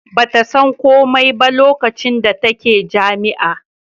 ba ta san komai ba lokacin da take jami'a